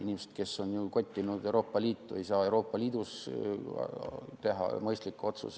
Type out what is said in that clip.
Inimesed, kes on kottinud Euroopa Liitu, ei saa Euroopa Liidus teha mõistlikke otsuseid.